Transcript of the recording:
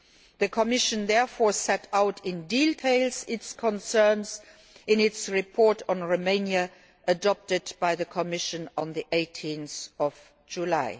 The Commission therefore set out in detail its concerns in its report on Romania, which was adopted by the Commission on 18 July.